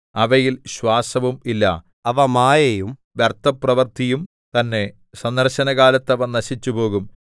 അവയിൽ ശ്വാസവും ഇല്ല അവ മായയും വ്യർത്ഥപ്രവൃത്തിയും തന്നെ സന്ദർശനകാലത്ത് അവ നശിച്ചുപോകും